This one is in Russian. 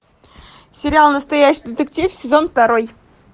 сериал настоящий детектив сезон второй